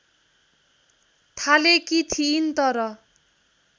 थालेकी थिइन् तर